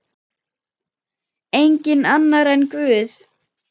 Enginn annar en Guð.